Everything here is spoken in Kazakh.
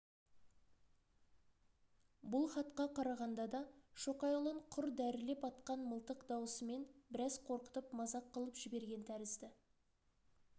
бұл хатқа қарағанда да шоқайұлын құр дәрілеп атқан мылтық дауысымен біраз қорқытып мазақ қылып жіберген тәрізді